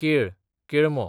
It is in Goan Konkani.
केळ, केळमो